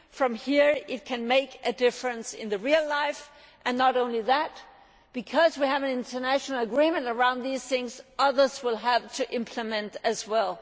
From here it can make a difference in real life and not only that because we have an international agreement around these matters, others will have to implement it as well.